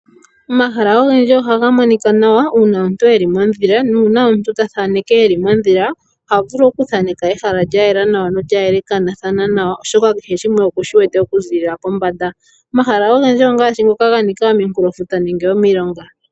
Omahala ogendji ohaga monika nawa uuna omuntu eli mondhila nuuna omuntu ta thaneke eli mondhila, oha vulu oku thaneka ehala lya yela nawa nolya yelekanathana nawa oshoka kehe shimwe okushi wete oku ziilila pombanda, omahala ogendji ongaashi ngoka ga nika ominkulofuta nenge omilonga.